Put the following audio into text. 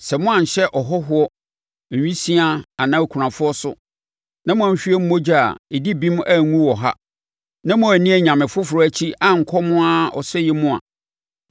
sɛ moanhyɛ ɔhɔhoɔ, awisiaa anaa okunafoɔ so, na moanhwie mogya a ɛdi bem angu wɔ ha, na moanni anyame foforɔ akyi ankɔ mo ara ɔsɛeɛ mu a,